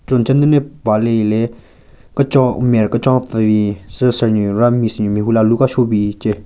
Cho nchenyu den ne paha le hile kechon maren kechon pvu bin cho sir nyu ra miss nyu mehvu le alu ka shobin che.